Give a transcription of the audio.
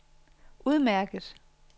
udmærket